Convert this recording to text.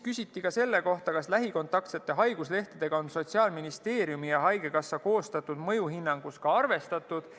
Küsiti ka selle kohta, kas lähikontaktsete haiguslehtedega on Sotsiaalministeeriumi ja haigekassa koostatud mõjuhinnangus arvestatud.